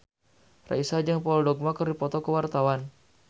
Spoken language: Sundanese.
Raisa jeung Paul Dogba keur dipoto ku wartawan